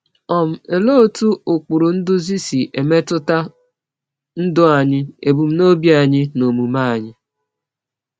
um Olee otú ụkpụrụ nduzi si emetụta ndụ anyị, ebumnobi anyị, na omume anyị?